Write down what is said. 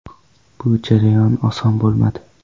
Bu jarayon oson bo‘lmadi.